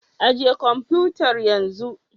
Ajiye kwamfutar yanzu